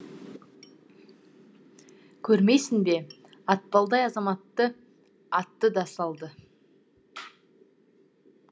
көрмейсің бе атпалдай азаматты атты да салды